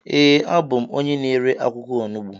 ee, abụ m onye na-ere akwụkwọ onugbu